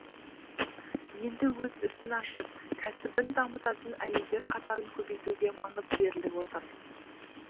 енді өз ісін ашып кәсібін дамытатын әйелдер қатарын көбейтуге маңыз беріліп отыр